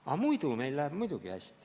Aga muidu meil läheb muidugi hästi.